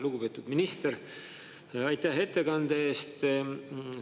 Lugupeetud minister, aitäh ettekande eest!